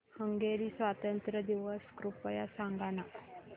Hungary स्वातंत्र्य दिवस कृपया सांग ना